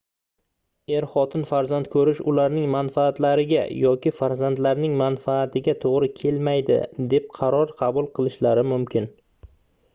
er-xotin farzand koʻrish ularning manfaatlariga yoki farzandlarining manfaatiga toʻgʻri kelmaydi deb qaror qabul qilishlari mumkin